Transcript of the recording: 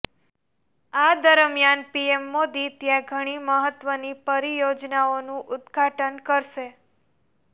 આ દરમિયાન પીએમ મોદી ત્યાં ઘણી મહત્વની પરિયોજનાઓનુ ઉદઘાટન કરશે